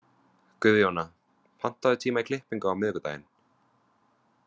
Guðjóna, pantaðu tíma í klippingu á miðvikudaginn.